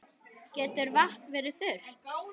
Getur vatn verið þurrt?